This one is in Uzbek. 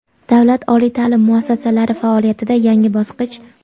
Davlat oliy taʼlim muassasalari faoliyatida yangi bosqich.